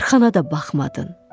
Arxana da baxmadın.